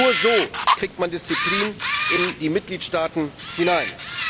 Nur so bekommt man Disziplin in die Mitgliedstaaten hinein.